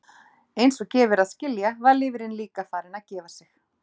Eins og gefur að skilja var lifrin líka farin að gefa sig.